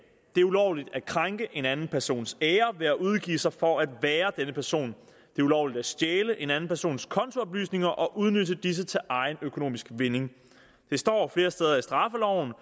det er ulovligt at krænke en anden persons ære ved at udgive sig for at være denne person det er ulovligt at stjæle en anden persons kontooplysninger og udnytte disse til egen økonomisk vinding det står flere steder i straffeloven